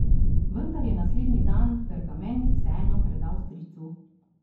Vendar je naslednji dan pergament vseeno predal stricu.